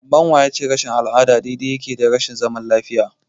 Amma wa ya ce rashin al'ada daidai yake da rashin zaman lafiya?